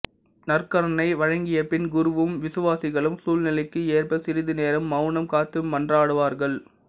நற்கருணை வழங்கியபின் குருவும் விசுவாசிகளும் சூழ்நிலைக்கு ஏற்ப சிறிது நேரம் மௌனம் காத்து மன்றாடுவார்கள்